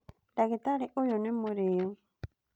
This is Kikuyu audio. Ndagĩtarĩ ũyũ nĩ mũrĩu